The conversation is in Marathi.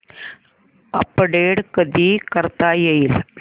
अपडेट कधी करता येईल